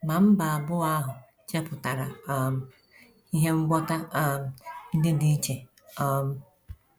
Ma mba abụọ ahụ chepụtara um ihe ngwọta um ndị dị iche. um